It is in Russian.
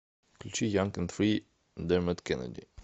включи янг энд фри дермот кеннеди